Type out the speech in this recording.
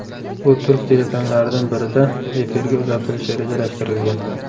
U turk telekanallaridan birida efirga uzatilishi rejalashtirilgan.